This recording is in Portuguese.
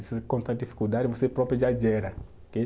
encontrar dificuldade, você próprio já gera.